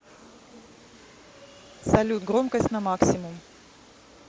салют громкость на максимум